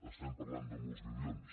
estem parlant de molts milions